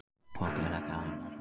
Fólkið er ekki alvarlega slasað